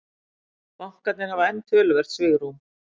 Bankarnir hafa enn töluvert svigrúm